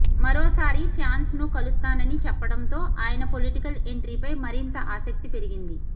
మరోసారి ఫ్యాన్స్ ను కలుస్తానని చెప్పడంతో ఆయన పొలిటికల్ ఎంట్రీపై మరింత ఆసక్తి పెరిగింది